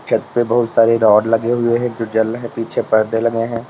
छत पे बहुत सारे रॉड लगे हुएं हैं जो जल रहे। पीछे पर्दे लगे हैं।